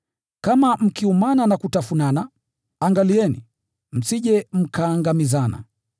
Kama mkiumana na kutafunana, angalieni, msije mkaangamizana.